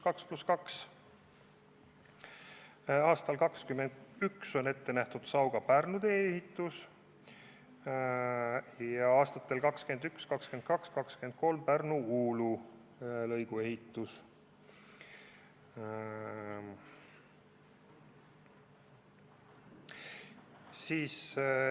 Aastaks 2021 on ette nähtud Sauga–Pärnu tee ehitus ja aastateks 2021–2023 Pärnu–Uulu lõigu ehitus.